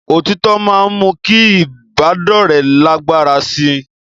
Òtítọ́ máa ń mú kí ìbádọ́rẹ̀ẹ́ lágbára sí i